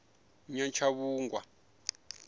nyatshavhungwa